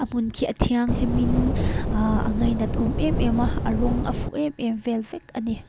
hmun khi a thianghlimim aaaah a ngaihnat awm em em a a rawng a fuh em em vel vek a ni.